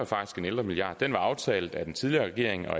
faktisk en ældremilliard og den var aftalt af den tidligere regering og